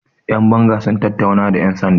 yanbanga sun tattauna da yansanda